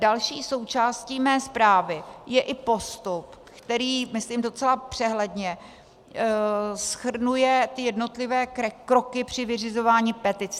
Další součástí mé zprávy je i postup, který, myslím docela přehledně, shrnuje ty jednotlivé kroky při vyřizování petic.